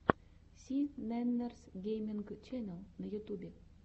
си нэннерс гейминг ченнел на ютьюбе